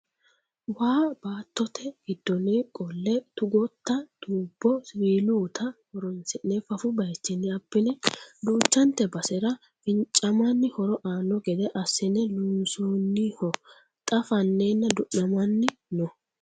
Waa baattote giddooni qole tugotta tubbo siwiilutta horonsi'ne fafu bayichinni abbine duuchante basera fincamanni horo aano gede assine loonsoniho xa fanenna du'namanni no.